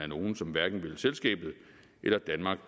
nogle som hverken vil selskabet eller danmark